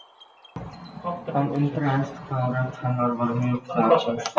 Ekkert flogið innanlands